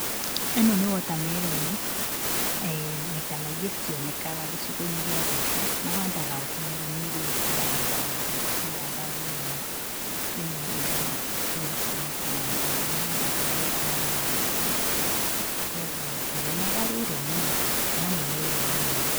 Ĩno nĩ wotameroni. Eh maita maingĩ citionekaga gĩcigo-inĩ gĩa guitũ, mahandaga wotameroni ĩrĩa ĩngĩ ya raundi, matihandaga ĩno, ĩno ĩhana gĩko matihandaga, mahandaga ĩrĩa ĩngĩ ya raundi, kuoguo ndionaga rĩrĩ mũno, no nĩ meroni ĩno.